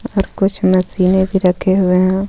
और कुछ मशीने भी रखे हुए हे.